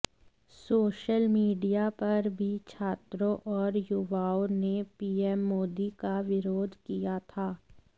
social media पर भी छात्रों और युवाओं ने पीएम मोदी का विरोध किया था